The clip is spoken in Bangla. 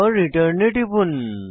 checkoutরিটার্ন এ টিপুন